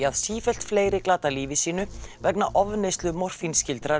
að sífellt fleiri glata lífi sínu vegna ofneyslu